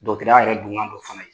Dɔtɔrɔya yɛrɛ don kan d'o fana ye.